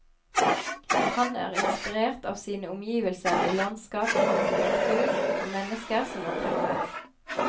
Han er inspirert av sine omgivelser i landskap, arkitektur og mennesker som han treffer.